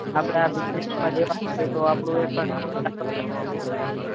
આપડા business માં દેવા પડે તો આપડું એક નવું startup